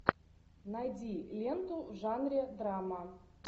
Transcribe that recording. найди ленту в жанре драма